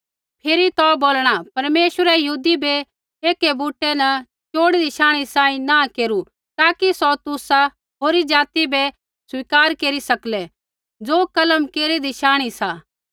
फिरी तो बोलणा परमेश्वरै यहूदी बै एक बूटै न चोड़ीदी शांणी सांही नाँह केरू ताकि सौ तुसा होरी जाति बै स्वीकार केरी सकलै ज़ो कलम केरीदी शांणी सांही सा